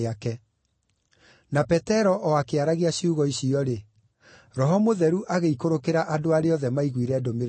Na Petero o akĩaragia ciugo icio-rĩ, Roho Mũtheru agĩikũrũkĩra andũ arĩa othe maiguire ndũmĩrĩri ĩyo.